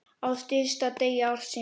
Á stysta degi ársins.